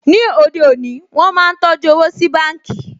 Ní òde òní, wọ́n máa ń tọjú owó sí báǹkì